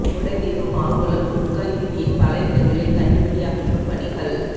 முல்லைத்தீவு மாங்குளம் துணுக்காய் வீதியின் பல இடங்களில் கண்ணிவெடி அகற்றும் பணிகள்